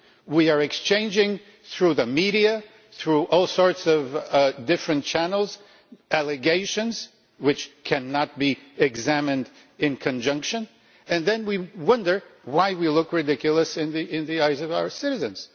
We are exchanging, through the media, through all sorts of different channels, allegations which cannot be examined in conjunction, and then we wonder why we look ridiculous in the eyes of our citizens.